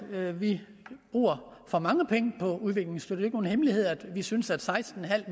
vi bruger for mange penge på udviklingsstøtte ikke nogen hemmelighed at vi synes at seksten